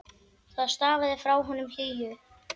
Það stafaði frá honum hlýju.